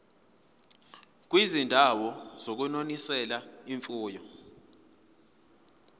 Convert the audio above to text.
kwizindawo zokunonisela imfuyo